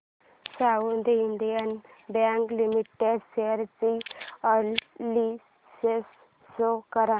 south Indian bank limited share analysis show कर